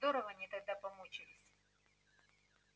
здорово они тогда помучились